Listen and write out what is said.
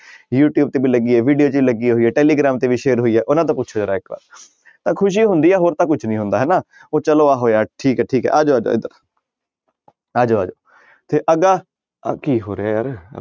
You tube ਤੇ ਵੀ ਲੱਗੀ ਹੈ video 'ਚ ਲੱਗੀ ਹੋਈ ਹੈ ਟੈਲੀਗ੍ਰਾਮ ਤੇ ਵੀ share ਹੋਈ ਹੈ ਉਹਨਾਂ ਤੋਂ ਪੁੱਛੋ ਜ਼ਰਾ ਇੱਕ ਵਾਰ ਤਾਂ ਖ਼ੁਸ਼ੀ ਹੁੰਦੀ ਹੈ ਹੋਰ ਤਾਂ ਕੁਛ ਨੀ ਹੁੰਦਾ ਹਨਾ ਹੋਇਆ ਠੀਕ ਹੈ ਠੀਕ ਹੈ ਆ ਜਾਓ ਆ ਜਾਓ ਆ ਜਾਓ ਆ ਜਾਓ ਤੇ ਅੱਗਾ ਆਹ ਕੀ ਹੋ ਰਿਹਾ ਯਾਰ।